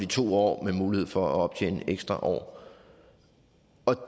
to år med mulighed for at optjene ekstra år